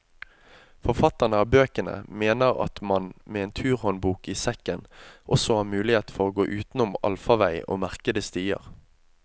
Forfatterne av bøkene mener at man med en turhåndbok i sekken, også har mulighet for å gå utenom allfarvei og merkede stier.